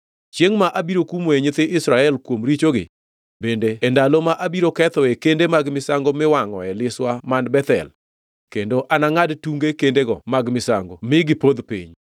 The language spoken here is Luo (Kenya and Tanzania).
“Chiengʼ ma abiro kumoe nyithi Israel kuom richogi, bende e ndalo ma abiro kethoe kende mag misango miwangʼoe liswa man Bethel, kendo anangʼad tunge kendego mag misango mi ginipodh piny.